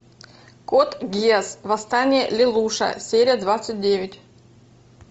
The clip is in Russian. код гиас восстание лелуша серия двадцать девять